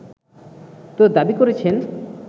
তো দাবি করছেন